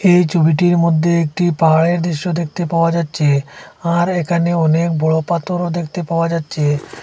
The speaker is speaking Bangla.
এই জমিটির মধ্যে একটি পাহাড়ের দৃশ্য দেখতে পাওয়া যাচ্ছে আর এখানে অনেক বড় পাথরও দেখতে পাওয়া যাচ্ছে।